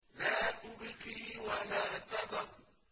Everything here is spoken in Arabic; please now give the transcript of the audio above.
لَا تُبْقِي وَلَا تَذَرُ